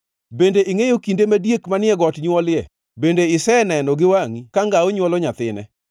“Bende ingʼeyo kinde ma diek manie got nywolie? Bende iseneno gi wangʼi ka ngao nywolo nyathine?